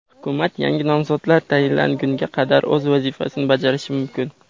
Hukumat yangi nomzodlar tayinlangunga qadar o‘z vazifasini bajarishi mumkin.